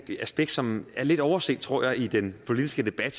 aspekt som er lidt overset tror jeg i den politiske debat